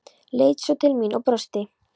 Leit svo til mín og brosti.